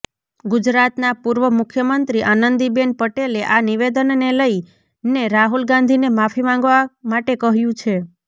ગુજરાતના પૂર્વ મુખ્યમંત્રી આનંદીબેન પટેલે આ નિવેદનને લઇને રાહુલ ગાંધીને માફી માંગવા માટે કહ્યું છે